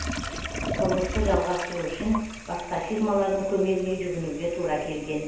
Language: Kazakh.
құрылысты жалғастыру үшін басқа фирмалардың көмегіне жүгінуге тура келген